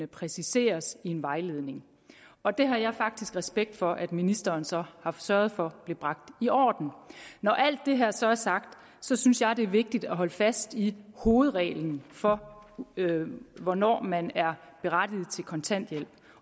præciseres i en vejledning og det har jeg faktisk respekt for at ministeren så har sørget for blev bragt i orden når alt det her så er sagt synes jeg det er vigtigt at holde fast i hovedreglen for hvornår man er berettiget til kontanthjælp